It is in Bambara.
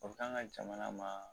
O bɛ k'an ka jamana ma